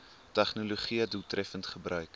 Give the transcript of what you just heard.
tegnologië doeltreffend gebruik